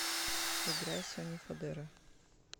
играй сони фодера